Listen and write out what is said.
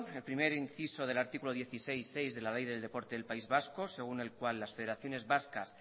el primer inciso del artículo dieciséis punto seis de la ley del deporte del país vasco según el cual las federaciones vascas